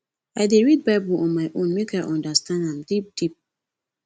i dey read bible on my own make i understand am deep deep